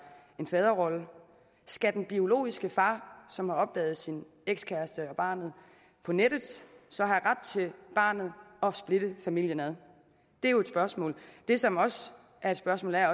en faderrolle skal den biologiske far som har opdaget sin ekskæreste og barnet på nettet så have ret til barnet og splitte familien ad det er jo et spørgsmål det som også er et spørgsmål er